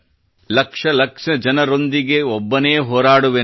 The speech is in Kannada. ಲಕ್ಷ ಲಕ್ಷ ಜನರೊಂದಿಗೆ ಒಬ್ಬನೇ ಹೋರಾಡುವೆನು